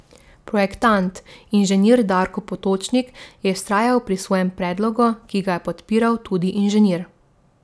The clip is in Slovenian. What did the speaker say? Projektant, inženir Darko Potočnik, je vztrajal pri svojem predlogu, ki ga je podpiral tudi Inženir.